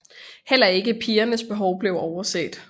Heller ikke pigernes behov blev overset